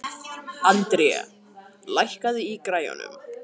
André, lækkaðu í græjunum.